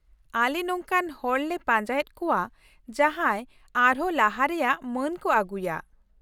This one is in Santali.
ᱟᱞᱮ ᱱᱚᱝᱠᱟᱱ ᱦᱚᱲᱞᱮ ᱯᱟᱸᱡᱟᱭᱮᱫ ᱠᱚᱣᱟ ᱡᱟᱦᱟᱸᱭ ᱟᱨᱦᱚᱸ ᱞᱟᱦᱟ ᱨᱮᱭᱟᱜ ᱢᱟᱹᱱ ᱠᱚ ᱟᱹᱜᱩᱭᱟ ᱾